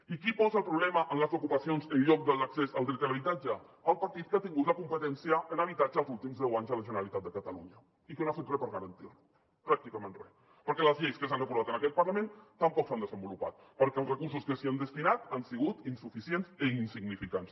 i qui posa el problema en les ocupacions en lloc de a l’accés al dret a l’habitatge el partit que ha tingut la competència en habitatge els últims deu anys a la generalitat de catalunya i que no ha fet re per garantir lo pràcticament re perquè les lleis que s’han aprovat en aquest parlament tampoc s’han desenvolupat perquè els recursos que s’hi han destinat han sigut insuficients i insignificants